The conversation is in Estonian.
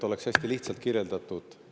Hästi lihtsalt kirjeldan.